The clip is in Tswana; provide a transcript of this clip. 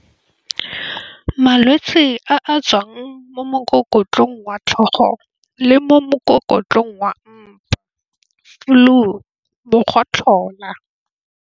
Malwetse a a tswang mo mokokotlong wa tlhogo le mo mokokotlong wa mpa, flu mokgotlhola.